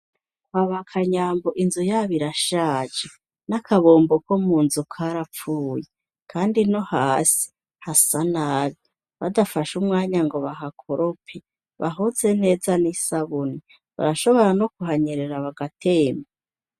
Kwaba Kanyambo inzu yabo irashaje, n'akabombo ko munzu karapfuye, kandi no hasi hasa nabi. Badafashe umwanya ngo bahakorope, bahoze neza n'isabuni, barashobora no kuhanyerera bagatemba.